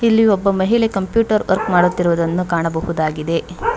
ಇಲ್ಲಿ ಒಬ್ಬ ಮಹಿಳೆ ಕಂಪ್ಯೂಟರ್ ವರ್ಕ್ ಮಾಡುತ್ತಿರುವುದನ್ನು ಕಾಣಬಹುದಾಗಿದೆ.